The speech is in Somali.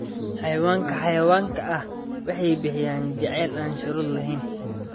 Xayawaanka xawayaanka ah waxay bixiyaan jacayl aan shuruud lahayn.